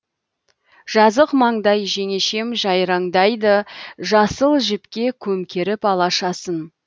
жазық маңдай жеңешем жайраңдайды жасыл жіпке көмкеріп алашасын